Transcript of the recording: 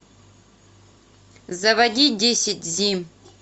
заводи десять зим